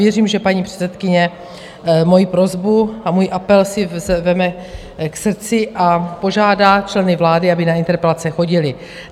Věřím, že paní předsedkyně moji prosbu a můj apel si vezme k srdci a požádá členy vlády, aby na interpelace chodili.